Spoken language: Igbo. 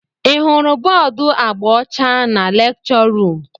Ị hụrụ bọọdu agba ọcha na lekchọ ruum?